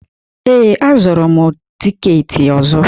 Ee, azụtara m tikeeti ọzọ